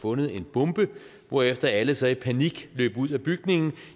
fundet en bombe hvorefter alle så i panik løb ud af bygningen